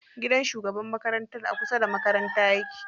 Gidan shugabar makarantar a kusa da makaranta yake.